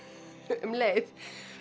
um leið